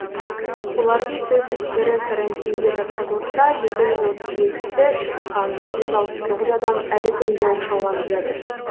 олардың төрт жүз бірі карантинге жатқызылса екі жүз отыз екісі шыққан жүз алпыс тоғыз адам әлі күнге оқшауланып жатыр